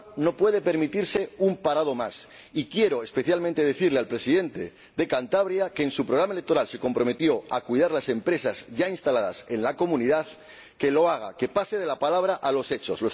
Europa no puede permitirse un parado más y quiero, especialmente, decirle al Presidente de Cantabria, que en su programa electoral se comprometió a cuidar las empresas ya instaladas en la Comunidad, que lo haga, que pase de la palabra a los hechos.